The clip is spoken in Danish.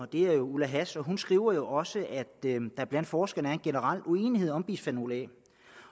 er ulla hass og hun skriver også at der blandt forskerne er en generel uenighed om bisfenol a